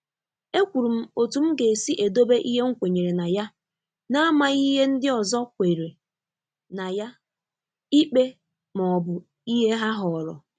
E kwuru m otú m ga-esi edobe ihe m kwenyere na ya n’amaghi ìhè ndị ọzọ kwèrè ná ya ikpe ma ọ bụ ìhè ha họrọ